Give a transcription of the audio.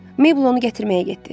Mabel onu gətirməyə getdi.